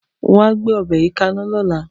Wa a gbé o̩̩bè̩ yìí kaná ló̩la!